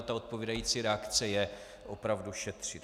A ta odpovídající reakce je opravdu šetřit.